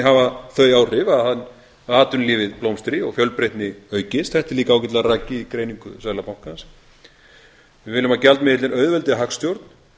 hafa þau áhrif að atvinnulífið blómstri og fjölbreytni aukist þetta er líka ágætlega rakið í greiningu seðlabankans við viljum að gjaldmiðillinn auðveldi hagstjórn